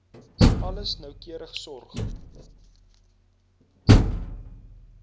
alles noukeurig sorg